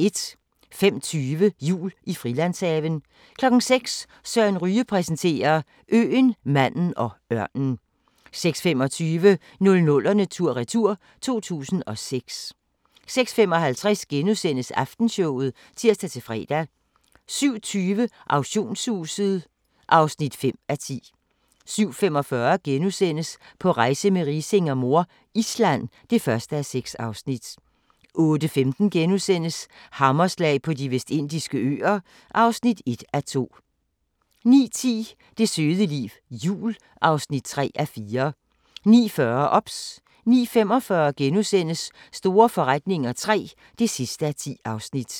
05:20: Jul i Frilandshaven 06:00: Søren Ryge præsenterer: Øen, manden og ørnen 06:25: 00'erne tur-retur: 2006 06:55: Aftenshowet *(tir-fre) 07:20: Auktionshuset (5:10) 07:45: På rejse med Riising og mor - Island (1:6)* 08:15: Hammerslag på De Vestindiske Øer (1:2)* 09:10: Det søde liv – jul (3:4) 09:40: OBS 09:45: Store forretninger III (10:10)*